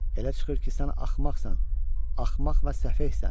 Elə çıxır ki sən axmaqsan, axmaq və səfeysən.